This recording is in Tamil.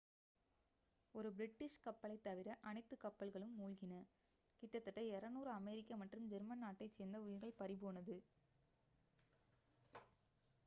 ஒரு பிரிட்டிஷ் கப்பலைத் தவிர அனைத்து கப்பல்களும் மூழ்கின கிட்டத்தட்ட 200 அமெரிக்க மற்றும் ஜெர்மன் நாட்டைச் சேர்ந்த உயிர்கள் பறிபோனது